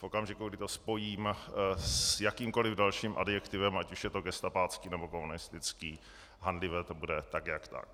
V okamžiku, kdy to spojím s jakýmkoliv dalším adjektivem, ať už je to gestapácký nebo komunistický, hanlivé to bude tak jak tak.